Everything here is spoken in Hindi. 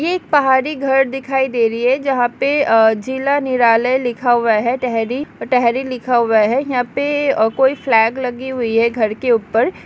ये एक पहाड़ी घर दिखाई दे रही है जहाँ पे आ जिला निर्लय लिखा हुआ है टेहरी टेहरी लिखा हुआ है यहाँ पे आ कोई फ्लैग लगी हुई है घर के ऊपर |